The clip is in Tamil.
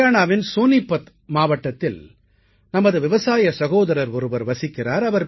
ஹரியாணாவின் சோனீபத் மாவட்டத்தில் நமது விவசாய சகோதரர் ஒருவர் வசிக்கிறார்